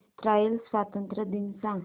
Israel स्वातंत्र्य दिन सांग